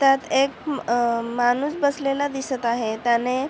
त्यात एक अ माणूस बसलेला दिसत आहे त्याने--